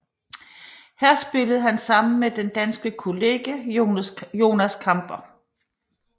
Her spillede han sammen med den danske kollega Jonas Kamper